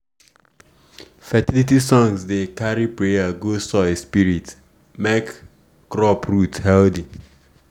fertility songs dey carry prayer go soil spirit make crop root healthy.